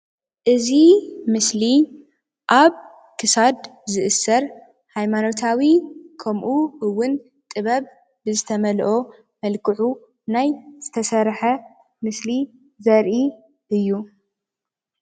እዚ ምስሊ ኣብ ክሳድ ዝእሰር ሃይማኖታዊ ከምኡ እውን ጥበብ ብዝተመልኦ መልክዑ ናይ ዝተሰርሐ ምስሊ ዘርኢ እዩ።